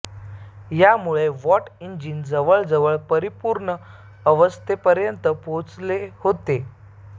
यामुळे Watt engine जवळजवळ परिपूर्ण अवस्थेपर्यंत पोहोचले होते